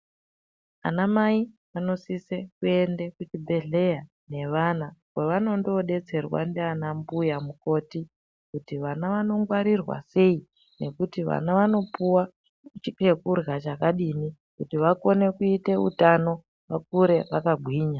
Anamai anosise kuende kuzvibhedhleya nevana kwavanondobetserwe ndiana mbuya mukoti. Kuti vana vanongwarirwa sei nekuti vana vanopuva chekurya chakadini kuti vakone kuita utano vakure vakagwinya.